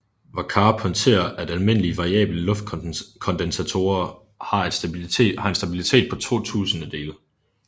Vackář pointerer at almindelige variable luftkondensatorer har en stabilitet på 2 tusindedele